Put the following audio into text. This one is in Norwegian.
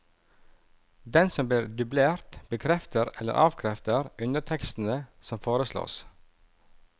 Den som blir dublert, bekrefter eller avkrefter undertekstene som foreslås.